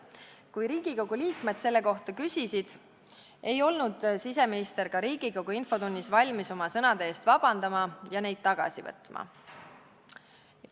Kui Riigikogu liikmed selle kohta küsisid, ei olnud siseminister ka Riigikogu infotunnis valmis oma sõnade eest vabandama ja neid tagasi võtma.